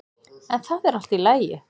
En það er allt í lagi.